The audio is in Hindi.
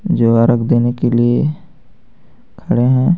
रख देने के लिए खड़े हैं.